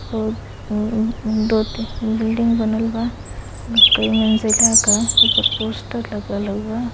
और दो तीन बिल्डिंग बनल बा | मेंस इलाका ऊपर पोस्टर लागल हौवे ।